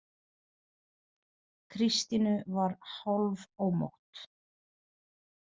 Kristínu var hálfómótt.